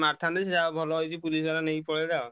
ମାରିଥାନ୍ତେ ସେ ଯାହା ହଉ ଭଲ ହେଇଛି police ବାଲା ନେଇକି ପଳେଇଲା ଆଉ।